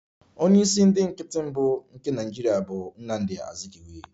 Onye isi ndị nkịtị mbụ nke Nigeria bụ Nnamdi Azikiwe